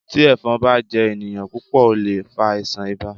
Tí Ẹ̀fọn bá jẹ ènìyàn púpọ̀ ó lè fa àìsàn ibà.